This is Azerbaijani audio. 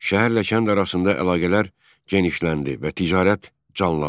Şəhərlə kənd arasında əlaqələr genişləndi və ticarət canlandı.